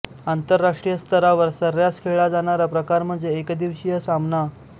आंतरराष्ट्रीय स्तरावर सर्रास खेळला जाणारा प्रकार म्हणजे एकदिवसीय सामना